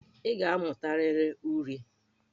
Ị ga-amụtarịrị uri!